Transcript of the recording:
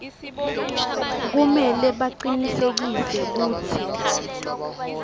kumele bacinisekise kutsi